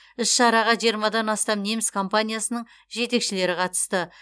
іс шараға жиырмадан астам неміс компаниясының жетекшілері қатысты